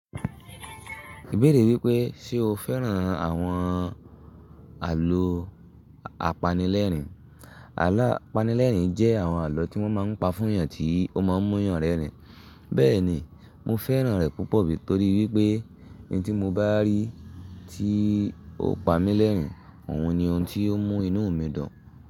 Ìbéèrè wípé, ṣe o fẹ́ràn àwọn àlọ́ apanilẹ́rìn? Àlọ́ apanilẹ́rìn jẹ́ àwọn àlọ́ tí wọ́n máa ń pa fún ènìyàn tí ó máa ń mú yànrínrìn. Bẹ́ẹ̀ni, mo fẹ́ràn rẹ̀ púpọ̀, torí wípé n tí mo bá rí i tí ò pa mí lẹ́rìn, òun ni ohun tí ó mú inú mi dùn.